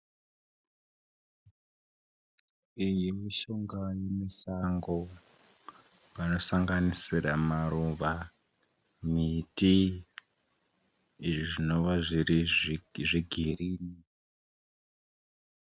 Iyi mishonga yemusango panosanganisira maruva, miti izvi zvinova zviri zvegirini.